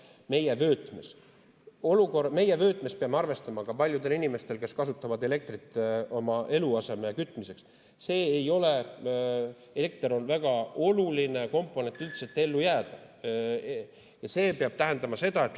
Meie kliimavöötmes peab arvestama, et paljudel inimestel, kes kasutavad elektrit oma eluaseme kütmiseks, on elekter väga oluline komponent selleks, et üldse ellu jääda.